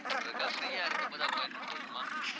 போடுறதுக்காக free ஆ இருக்கும்போது appointment போடணுமா